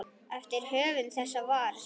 eftir höfund þessa svars.